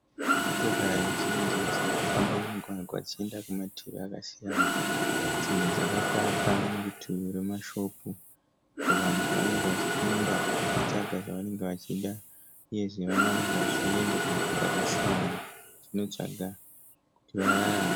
Motokari zhinji dzirikufamba mumugwagwa dzichenda kumativi akasiyana. Dzimwe dzakapaka murutivi rwemashopu . Vanhu pavanenge vachipinda vachitsvaga zvavanenge vachida, uyezve vamwe vanenge vachienda kunzvimbo dzakasiyana vachino tsvaga kuti vararame.